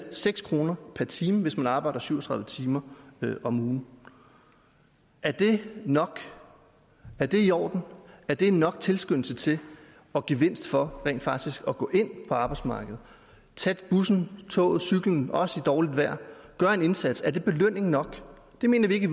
seks kroner per time hvis man arbejder syv og tredive timer om ugen er det nok er det i orden er det nok tilskyndelse til og gevinst for rent faktisk at gå ind på arbejdsmarkedet tage bussen toget cyklen også i dårligt vejr gøre en indsats er det belønning nok det mener vi i